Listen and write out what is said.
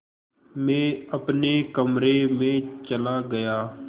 मैं अपने कमरे में चला गया